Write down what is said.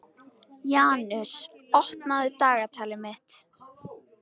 Janus, opnaðu dagatalið mitt.